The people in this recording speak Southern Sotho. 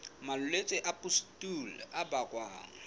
malwetse a pustule a bakwang